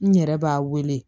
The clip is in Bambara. N yɛrɛ b'a wele